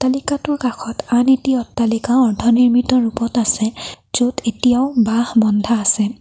অট্টালিকাটোৰ কাষত আন এটি অট্টালিকাও অৰ্ধনিৰ্মিত ৰূপত আছে য'ত এতিয়াও বাঁহ বন্ধা আছে।